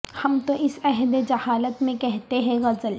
ہم تو اس عہد جہالت میں کہتے ہیں غزل